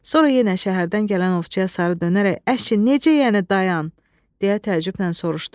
Sonra yenə şəhərdən gələn ovçuya sarı dönərək əşi necə yəni dayan, deyə təəccüblə soruşdu.